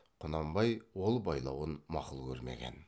құнанбай ол байлауын мақұл көрмеген